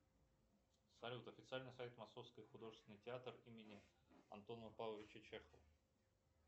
салют официальный сайт московский художественный театр имени антона павловича чехова